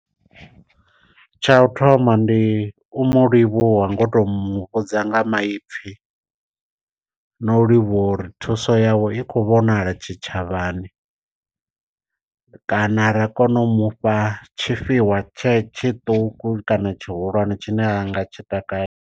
Tsha u thoma ndi u mu livhuwa nga u to muvhudza nga maipfhi, na u livhuwa uri thuso yawe i khou vhonala tshitshavhani. Kana ra kona u mufha tshifhiwa tshe tshiṱuku kana tshihulwane tshine a nga tshi takalela.